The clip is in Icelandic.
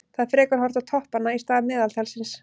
Það er frekar horft á toppanna í stað meðaltalsins.